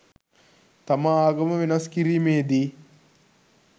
තම ආගම වෙනස් කිරීමේ දී